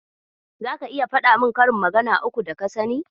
Zaka iya faɗa min karin magana uku daka sani.